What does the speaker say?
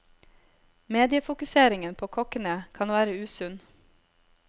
Mediefokuseringen på kokkene kan være usunn.